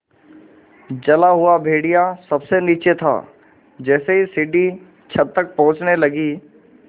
जला हुआ भेड़िया सबसे नीचे था जैसे ही सीढ़ी छत तक पहुँचने लगी